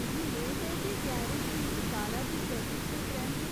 मिगी मेद ऐ जे गैरेज मेरी कारा दी सर्विस दे परैंत्त